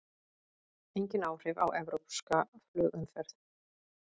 Engin áhrif á evrópska flugumferð